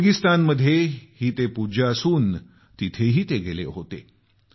उझबेकिस्तानमध्येही ते पूज्य आहेत जिथं ते गेले होते